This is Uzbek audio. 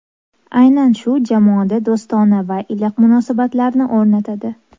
Aynan shu jamoada do‘stona va iliq munosabatlarni o‘rnatadi”.